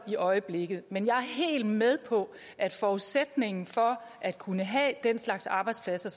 i øjeblikket men jeg er helt med på at forudsætningen for at kunne have den slags arbejdspladser